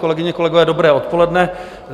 Kolegyně, kolegové, dobré odpoledne.